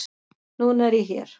Núna er ég hér.